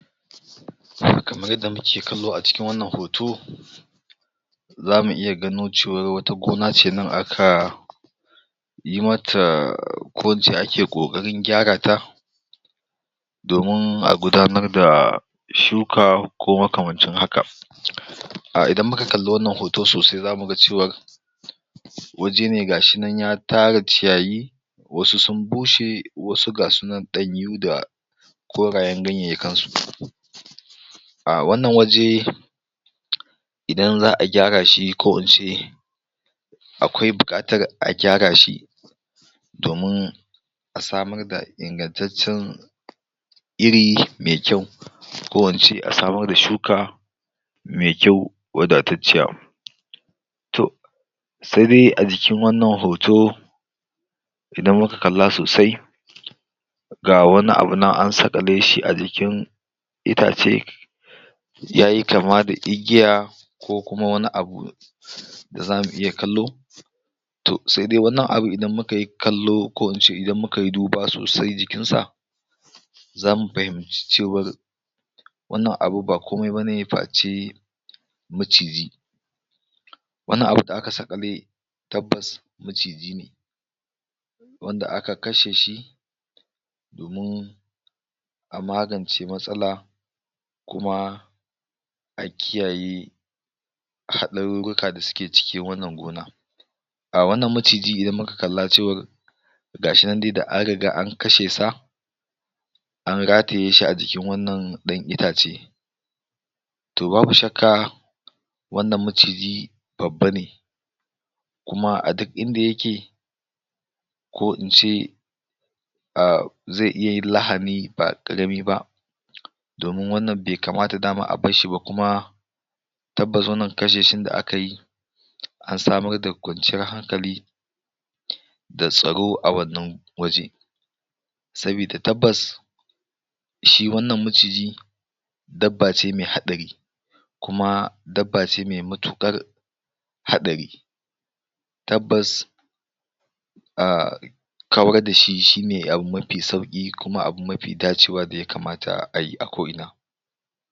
kamar yadda muke kallo a cikin wannan hoto zamu iya gano cewar wata gona ce nan aka yi mata ko ince ake ƙoƙarin gyara ta domin a gudanar da shuka ko makamancin haka um idan muka kalla wannan hoto sosai zamu ga cewar waje ne ga shi nan ya tara ciyayi wasu sun bushe wasu ga su nan ɗanyu da korayen ganyayyakan su um wannan waje idan za'a gyara shi ko in ce akwai buƙatar a gyara shi domin a samar da ingantaccen iri me kyau ko ince a samar da shuka me kyau wadatacciya to se dai a jikin wannan hoto idan muka kalla sosai ga wani abu nan an saƙale shi a jikin itace yayi kama da igiya ko kuma wani abu da zamu iya kallo to se dai wannan abu idan muka yi kallo ko ince idan muka yi duba sosai jikin sa zamu fahimci cewar wannan abu ba komai bane face maciji wannan abu da aka saƙale tabbas maciji ne wanda aka kashe shi domin a magance matsala kuma a kiyayi haɗarurruka da suke cikin wannan gona um wannan maciji idan muka kalla cewar ga shi nan dai da an riga an kashe sa an rataye shi a jikin wannan ɗan itace to babu shakka wannan maciji babba ne kuma a duk inda yake ko ince um ze iya yin lahani ba ƙarami ba domin wannan be kamata dama abar shi ba kuma tabbas wannan kashe shin da aka yi an samar da kwanciyar hankali da tsaro a wannan waje sabida tabbas shi wannan maciji dabba ce me haɗari kuma dabba ce me matuƙar haɗari tabbas um kawar da shi shine abu mafi sauƙi kuma abu mafi dacewa da ya kamata ayi a ko'ina